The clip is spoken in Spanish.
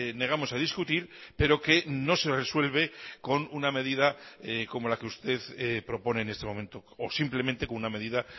negamos a discutir pero que no se resuelve con una medida como la que usted propone en este momento o simplemente con una medida